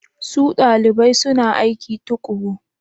Su dalibai suna aiki tuƙuru?